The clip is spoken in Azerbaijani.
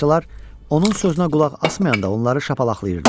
Balacalar onun sözünə qulaq asmayanda onları şapalaqlayırdı.